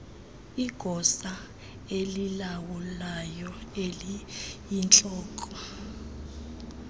igosa elilawulayo eliyintloko